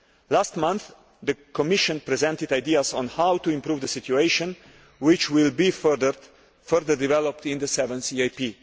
Last month, the Commission presented ideas on how to improve the situation which will be further developed in the 7th EAP.